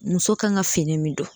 Muso kan ka fini min don